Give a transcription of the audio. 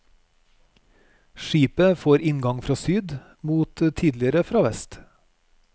Skipet får inngang fra syd, mot tidligere fra vest.